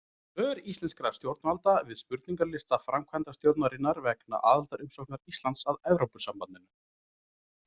Svör íslenskra stjórnvalda við spurningarlista framkvæmdastjórnarinnar vegna aðildarumsóknar Íslands að Evrópusambandinu.